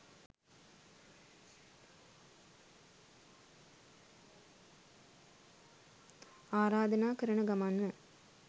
ආරාධනා කරන ගමන්ම